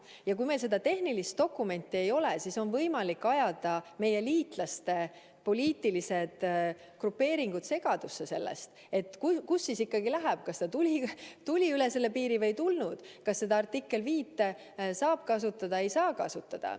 Ja kui meil seda tehnilist dokumenti ei ole, siis on võimalik ajada meie liitlaste poliitilised grupeeringud segadusse, sest pole teada, kust piir ikkagi läheb, kas tuldi üle piiri või ei tuldud, kas artiklit 5 saab kasutada või ei saa kasutada.